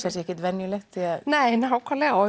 ekkert venjulegt nei nákvæmlega og